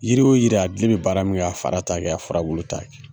Yiri o jira a bulu bɛ baara min kɛ, a fara t'a kɛ, a fura bulu t'a kɛ.